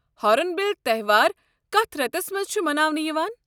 Horn bill تہوار کتھ رٮ۪تَس مَنٛز چھُ مناونہٕ یِوان؟